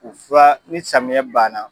O fura ni samiɲɛ ban na